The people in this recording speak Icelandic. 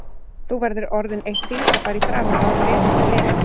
Þú verður orðin eitt fingrafar í framan áður en veturinn er liðinn